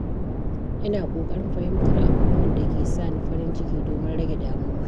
Ina ƙoƙarin fahimtar abubuwan da ke sa ni farin ciki domin rage damuwa.